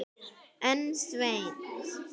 En Sveinn